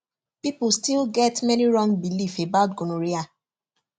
people still get many wrong belief about gonorrhea